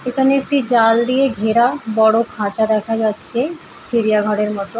এখানে একটি জাল দিয়ে ঘেরা বড় খাঁচা দেখা যাচ্ছে চিড়িয়া ঘরের মতো।